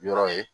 Yɔrɔ ye